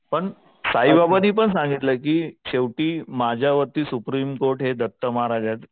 पण साईबाबांनी पण सांगितलंय की शेवटी माझ्या वरती सुप्रीम कोर्ट हे दत्त महाराज आहेत.